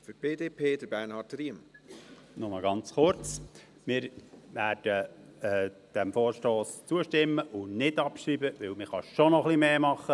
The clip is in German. Nur ganz kurz: Wir werden diesem Vorstoss zustimmen und nicht abschreiben, denn man kann schon noch ein wenig mehr tun.